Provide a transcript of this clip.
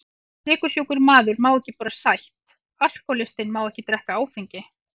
Sykursjúkur maður má ekki borða sætt, alkohólistinn má ekki drekka áfengi.